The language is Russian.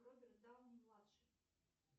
роберт дауни младший